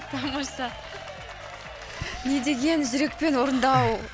тамаша не деген жүрекпен орындау